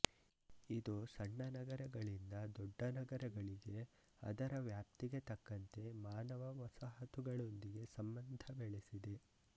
ಇದು ಸಣ್ಣ ನಗರಗಳಿಂದ ದೊಡ್ಡ ನಗರಗಳಿಗೆ ಅದರ ವ್ಯಾಪ್ತಿಗೆ ತಕ್ಕಂತೆ ಮಾನವ ವಸಾಹತುಗಳೊಂದಿಗೆ ಸಂಬಂಧ ಬೆಳೆಸಿದೆ